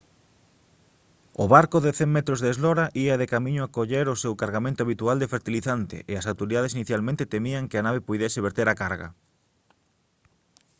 o barco de 100 metros de eslora ía de camiño a coller o seu cargamento habitual de fertilizante e as autoridades inicialmente temían que a nave puidese verter a carga